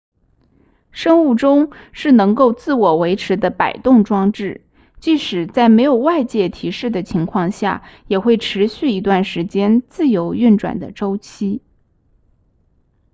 生物钟是能够自我维持的摆动装置即使在没有外界提示的情况下也会持续一段时间自由运转的周期